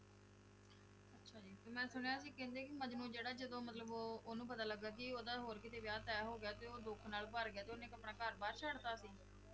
ਤੇ ਮੈਂ ਸੁਣਿਆ ਸੀ ਕਹਿੰਦੇ ਕਿ ਮਜਨੂੰ ਜਿਹੜਾ ਜਦੋਂ ਮਤਲਬ ਉਹ ਉਹਨੂੰ ਪਤਾ ਲੱਗਾ ਕਿ ਉਹਦਾ ਹੋਰ ਕਿਤੇ ਵਿਆਹ ਤਹਿ ਹੋ ਗਿਆ ਤੇ ਉਹ ਦੁੱਖ ਨਾਲ ਭਰ ਗਿਆ, ਤੇ ਆਪਣਾ ਘਰ ਬਾਰ ਛੱਡ ਦਿੱਤਾ ਸੀ?